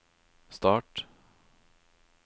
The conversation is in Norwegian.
start